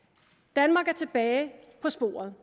danmark er tilbage på sporet